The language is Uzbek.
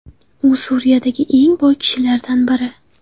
U Suriyadagi eng boy kishilardan biri.